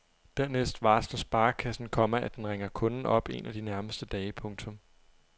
Dernæst varsler sparekassen, komma at den ringer kunden op en af de nærmeste dage. punktum